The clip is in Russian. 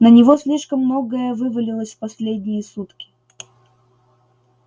на него слишком многое вывалилось в последние сутки